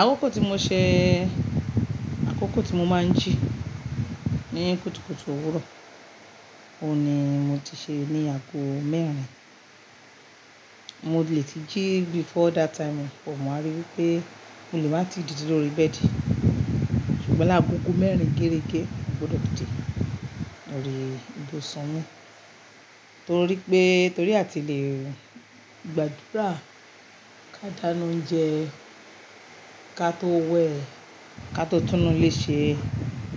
Àkókò tí mo ṣe, àkókò tí mo máa ń jí ní kùtùkùtù òwúrọ̀, òní mo ti ṣe ní ago mẹ́rin. Mo lè ti jí before that time, mo máa rí wí pé mo lè máa ti dìde lórí bẹ́ẹ̀dì, ṣùgbọ́n ni agogo mẹ́rin gérégé, mo gbọdọ̀ dìde. Mo rí ibo ṣán mú, torí pé torí a ti le gbàdúrà, ká dáná oúnjẹ, ká tó wẹ, ká tó tún ilé ṣe,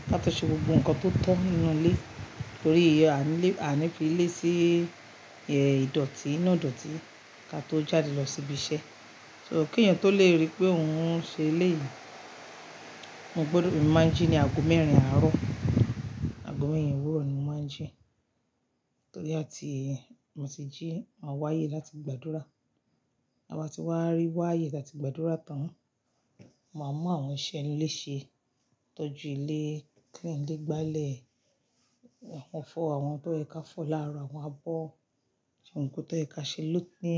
ká tó ṣe gbogbo nǹkan tó tọ́ nínú ilé, torí àní fi ilé sí ìdọ̀tí iná ìdọ̀tí ká tó jáde lọ sí ibi iṣẹ́. So kí ènìyàn tó le rí pé òun ń ṣe ilé yìí, mo gbọdọ̀, èmi máa ń jí ní ago mẹ́rin àárọ̀, ago mẹ́rin òwúrọ̀ ni mo máa ń jí, torí a ti, mo ti jí, máa wáyé láti gbàdúrà. A bá ti wá rí wáyé láti gbàdúrà tán, màá mọ àwọn iṣẹ́ ilé ṣe, tọ́jú ilé, clean ilé, gbálẹ̀, wọ́n fọ àwọn tó yẹ ká fọ lára, wọ́n á bọ́, ṣùgbọ́n nǹkan tó yẹ ká ṣe ló ní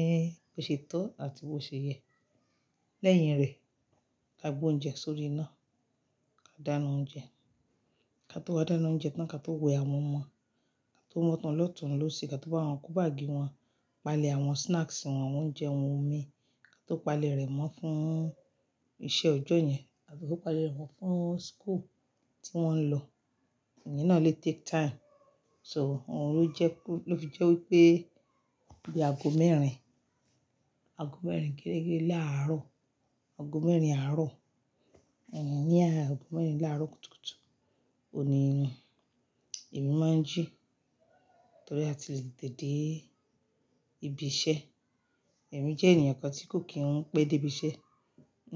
bó ṣe tọ́ àti bó ṣe yẹ. Lẹ́yìn rẹ̀, ká gbé oúnjẹ sórí iná, ká dáná oúnjẹ, ká tó wá dáná oúnjẹ tán ká tó wẹ àwọn ọmọ, ká tó wọ́n tán lọ́tunún lósì, ká tó bá wọn kún báàgì wọn, palẹ̀ àwọn snacks wọn, oúnjẹ wọn, omi, ká tó palẹ̀ rẹ̀ mọ́ fún iṣẹ́ ọjọ́ yẹn àti kó palẹ̀ rẹ̀ mọ́ fún school tí wọ́n ń lọ. Ìye náà lè take time. So òun ló fi jẹ́ wí pé bí ago mẹ́rin, ago mẹ́rin gérégé láàárọ̀, ago mẹ́rin àárọ̀, ìyẹn ni ago mẹ́rin láàárọ̀ kùtùkùtù, òní ni èmi máa ń jí torí a ti lè dìde ibi iṣẹ́. Èmi jẹ́ ènìyàn kan tí kò kí n pẹ́ dé ibi iṣẹ́,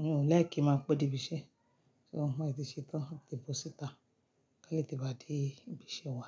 mi o like ki máa pẹ́ dé ibi iṣẹ́, so mo lè ti ṣe tán tìbọ̀sítà kí a lè ti wá dé ibi iṣẹ́ wa.